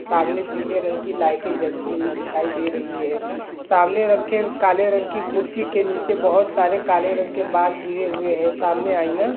सामने पीले रंग की लाइटे जलती हुई दिखाई दे रही है। सामने रखे काले रंग की कुर्सी के नीचे बहोत (बहुत) सारे काले रंग के बाल गिरे हुए हैं। सामने आईना--